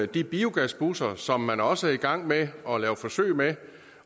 de biogasbusser som man også er i gang med at lave forsøg med